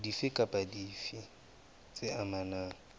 dife kapa dife tse amanang